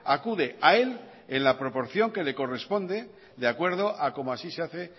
acude a él en la proporción que le corresponde de acuerdo a como así se hace